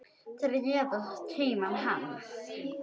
Þeir réðu tíma hans.